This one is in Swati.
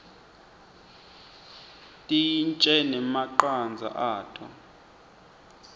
tintje nemacandza ato